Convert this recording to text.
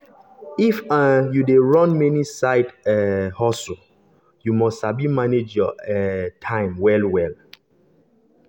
if um you dey run many side um hustles you must sabi manage your um time well-well.